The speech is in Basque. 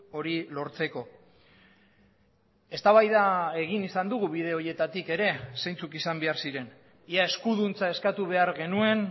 hori lortzeko eztabaida egin izan dugu bide horietatik ere zeintzuk izan behar ziren ia eskuduntza eskatu behar genuen